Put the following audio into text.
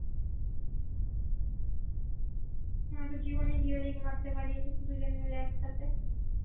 আমি তো জীবনে মারতে পারিনি দুজন মিলে একটাতে